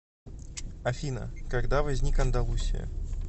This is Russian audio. афина когда возник андалусия